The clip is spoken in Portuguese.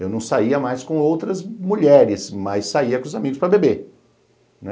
Eu não saía mais com outras mulheres, mas saía com os amigos para beber.